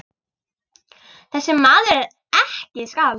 Þessi maður er ekki skáld.